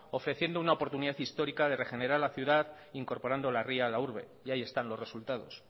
ofreciendo una oportunidad histórica de regenerar la ciudad incorporando la ría a la urbe y ahí están los resultados